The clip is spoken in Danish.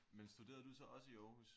Men studerede du så også i Aarhus?